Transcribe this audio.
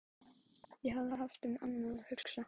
Ég hafði haft um annað að hugsa.